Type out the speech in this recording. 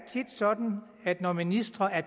sådan at når ministre er